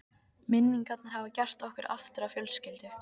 Minningarnar hafa gert okkur aftur að fjölskyldu.